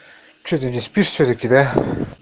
что ты не спишь всё-таки да